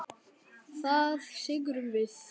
Það syrgjum við.